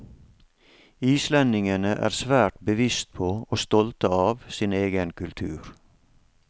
Islendingene er svært bevisst på, og stolte av, sin egen kultur.